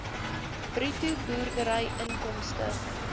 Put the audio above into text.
bruto boerdery inkomste